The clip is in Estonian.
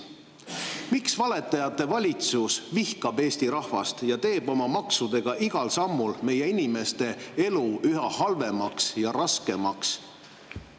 Miks valetajate valitsus vihkab Eesti rahvast ja teeb oma maksudega igal sammul meie inimeste elu üha halvemaks ja raskemaks?